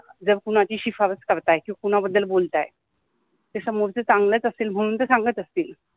जर कुणाचि सिफारिश करत आहे कि कुणाबद्दल बोलत आहे समोरच चांगलच असेल म्हनुन तर सांगत असतिल